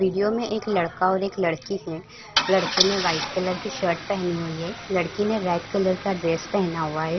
Video में एक लड़का और एक लड़की है लड़के ने व्हाइट कलर की शर्ट पहनी हुई है लड़की ने रेड कलर का ड्रेस पहना हुआ है।